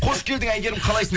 қош келдің әйгерім қалайсың